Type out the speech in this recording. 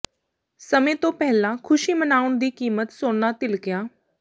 ਸਮੇਂ ਤੋਂ ਪਹਿਲਾਂ ਖੁਸ਼ੀ ਮਨਾਉਣ ਦੀ ਕੀਮਤ ਸੋਨਾ ਧਿਲਕਿਆ